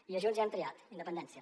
i a junts ja hem triat independència